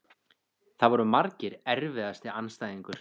Það voru margir Erfiðasti andstæðingur?